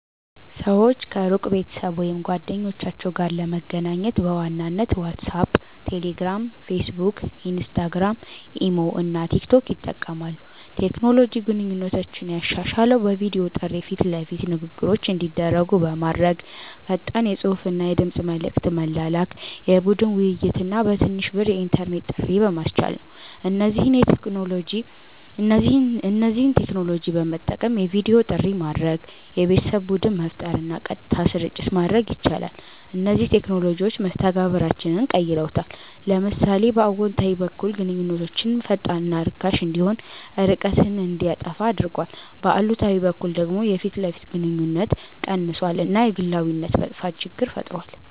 ሰዎች ከሩቅ ቤተሰብ ወይም ጓደኞቻቸው ጋር ለመገናኘት በዋናነት ዋትሳፕ፣ ቴሌግራም፣ ፌስቡክ፣ ኢንስታግራም፣ ኢሞ እና ቲክቶክ ይጠቀማሉ። ቴክኖሎጂ ግንኙነቶችን ያሻሻለው በቪዲዮ ጥሪ ፊት ለፊት ንግግሮች እንዲደረጉ በማድረግ፣ ፈጣን የጽሁፍና የድምጽ መልዕክት መላላክ፣ የቡድን ውይይት እና በትንሽ ብር የኢንተርኔት ጥሪ በማስቻል ነው። እነዚህን ቴክኖሎጂዎች በመጠቀም የቪዲዮ ጥሪ ማድረግ፣ የቤተሰብ ቡድን መፍጠር እና ቀጥታ ስርጭት ማድረግ ይቻላል። እነዚህ ቴክኖሎጂዎች መስተጋብራችንን ቀይረውታል። ለምሳሌ በአዎንታዊ በኩል ግንኙነት ፈጣንና ርካሽ እንዲሆን፣ ርቀትን እንዲያጠፋ አድርጓል፤ በአሉታዊ በኩል ደግሞ የፊት ለፊት ግንኙነት ቀንሷል እና የግላዊነት መጥፋት ችግር ፈጥሯል።